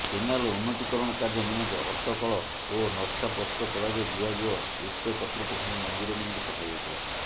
canal ଉନ୍ନତିକରଣ କାର୍ଯ୍ୟ ନିମନ୍ତେ ଅଟକଳ ଓ ନକ୍ସା ପ୍ରସ୍ତୁତ କରାଯାଇ ବିଭାଗୀୟ ଉଚକତୃପକ୍ଷଙ୍କୁ ମଞ୍ଜୁର ନିମନ୍ତେ ପଠାଯାଇଥିଲା